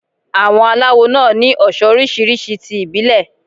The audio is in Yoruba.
Àwọn aláwo náà ni oso oríṣiríṣi ti ìbílẹ̀.